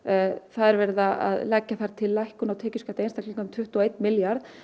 það er verið að leggja þar til lækkun á tekjuskatti einstaklinga um tuttugu og einn milljarð